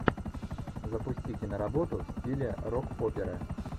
запусти киноработу в стиле рок оперы